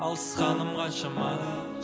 алысқаным қаншама